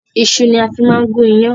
Iṣu ni a fi máa ń gun ìyàn